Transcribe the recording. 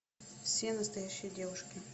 все настоящие девушки